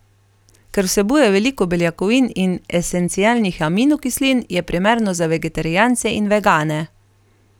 Ker vsebuje veliko beljakovin in esencialnih aminokislin, je primerno za vegetarijance in vegane.